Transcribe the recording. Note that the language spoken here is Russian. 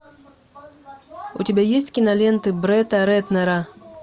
у тебя есть киноленты бретта рэтнера